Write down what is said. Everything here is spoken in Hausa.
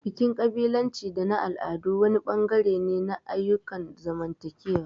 Bikin ƙabilanci da na al'adu wani bangare ne na ayyukan zamantakewa.